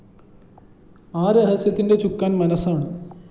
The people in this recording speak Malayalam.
ആ രഹസ്യത്തിന്റെ ചുക്കാന്‍ മനസ്സാണ്